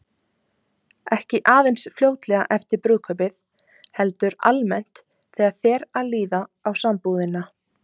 Ekki aðeins fljótlega eftir brúðkaupið, heldur almennt þegar fer að líða á sambúðina.